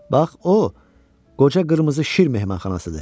Bax o qoca qırmızı şir mehmanxanasıdır.